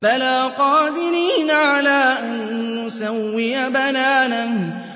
بَلَىٰ قَادِرِينَ عَلَىٰ أَن نُّسَوِّيَ بَنَانَهُ